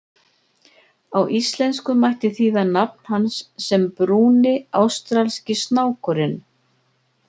Á íslensku mætti þýða nafn hans sem Brúni ástralski snákurinn.